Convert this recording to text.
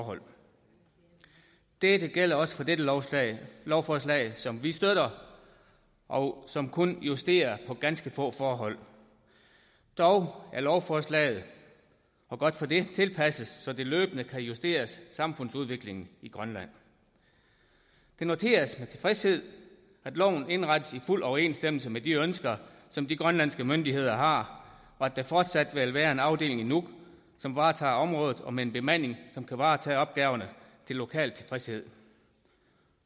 forhold dette gælder også for dette lovforslag lovforslag som vi støtter og som kun justerer på ganske få forhold dog er lovforslaget og godt for det tilpasset så det løbende kan justeres i forhold samfundsudviklingen i grønland det noteres med tilfredshed at loven indrettes i fuld overensstemmelse med de ønsker som de grønlandske myndigheder har og at der fortsat vil være en afdeling i nuuk som varetager området med en bemanding som kan varetage opgaverne til lokal tilfredshed